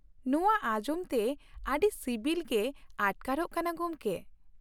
ᱱᱚᱶᱟ ᱟᱸᱡᱚᱢ ᱛᱮ ᱟᱹᱰᱤ ᱥᱤᱵᱤᱞ ᱜᱮ ᱟᱴᱠᱟᱨᱚᱜ ᱠᱟᱱᱟ ᱜᱚᱢᱠᱮ ᱾